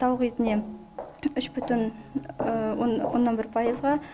тауық етіне үш бүтін оннан бір пайызға